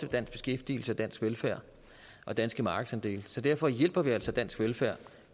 dansk beskæftigelse dansk velfærd og danske markedsandele så derfor hjælper vi altså dansk velfærd